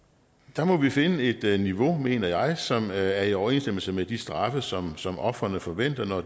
der må vi finde et niveau mener jeg som er i overensstemmelse med de straffe som som ofrene forventer når